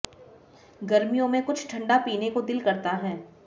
गर्मियों में कुछ ठंडा पीने को दिल करता हैं